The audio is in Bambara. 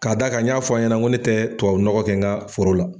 Ka d'a kan n y'a fɔ a ɲɛna n ko n tɛ tubabu nɔgɔ kɛ nka foro la.